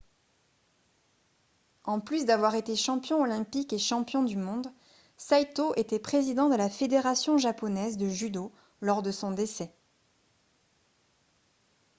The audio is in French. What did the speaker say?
en plus d'avoir été champion olympique et champion du monde saito était président de la fédération japonaise de judo lors de son décès